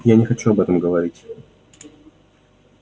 я не хочу об этом говорить